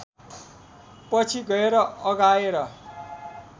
पछि गएर अघाएर